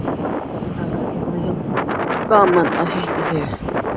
Það er alltaf jafn gaman að hitta þig.